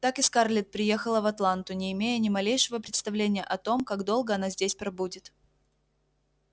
так и скарлетт приехала в атланту не имея ни малейшего представления о том как долго она здесь пробудет